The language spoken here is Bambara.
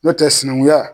N'o tɛ sinankunya